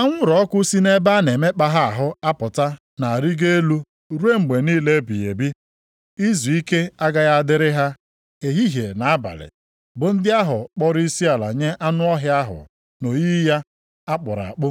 Anwụrụ ọkụ si nʼebe a na-emekpa ha ahụ apụta na-arịgo elu ruo mgbe niile ebighị ebi. Izuike agaghị adịrị ha ehihie na abalị bụ ndị ahụ kpọrọ isiala nye anụ ọhịa ahụ na oyiyi ya a kpụrụ akpụ,